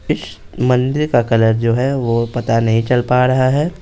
इस मंदिर का कलर जो है वो पता नहीं चल पा रहा है।